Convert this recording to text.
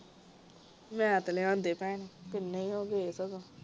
ਮੈਂ ਤੇ ਲਿਆ ਦੇ ਭੈਣ ਕਿੰਨੇ ਹੀ ਹੋ ਗਏ ਸਗੋਂ